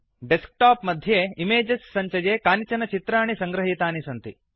desk टाप् मध्ये images सञ्चये कानिचन चित्राणि संगृहीतानि सन्ति